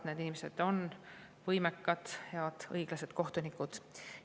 Need inimesed on võimekad, head, õiglased kohtunikud.